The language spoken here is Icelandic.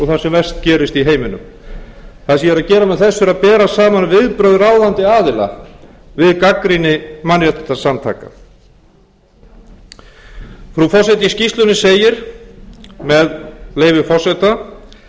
sem verst gerist í heiminum það sem ég er að gera með þessu er að bera saman viðbrögð ráðandi aðila við gagnrýni mannréttindasamtaka frú forseti í skýrslunni segir með leyfi forseta íslensk